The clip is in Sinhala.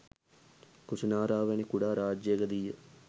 කුසිනාරාව වැනි කුඩා රාජ්‍යයකදී ය.